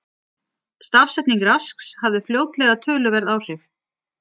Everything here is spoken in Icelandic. Stafsetning Rasks hafði fljótlega töluverð áhrif.